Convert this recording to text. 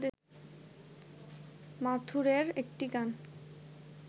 মাথুরের একটি গান